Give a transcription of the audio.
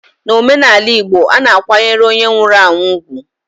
N'omenaala Igbo, a na-akwanyere onye nwụrụ anwụ ugwu.